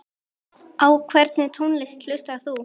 Á hvernig tónlist hlustar þú?